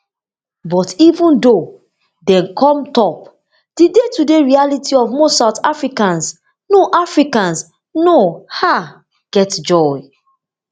but even though dem come top di daytoday reality for most south africans no africans no um get joy